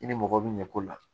I ni mɔgɔ bɛ ɲɛko la